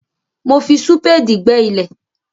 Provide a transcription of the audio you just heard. Mo fi súpéèdì gbẹ́ ilẹ̀.